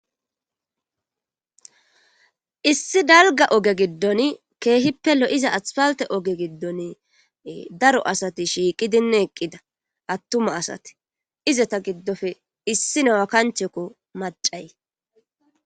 issi dalga oge giddon keehippe lo7iza aspalte oge giddon daro asati shiiqidine eqqida attuma asate izata giddofe issi newa kanchekko macay